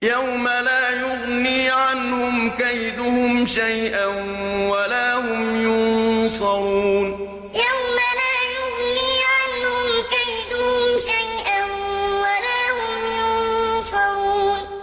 يَوْمَ لَا يُغْنِي عَنْهُمْ كَيْدُهُمْ شَيْئًا وَلَا هُمْ يُنصَرُونَ يَوْمَ لَا يُغْنِي عَنْهُمْ كَيْدُهُمْ شَيْئًا وَلَا هُمْ يُنصَرُونَ